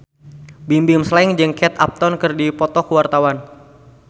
Bimbim Slank jeung Kate Upton keur dipoto ku wartawan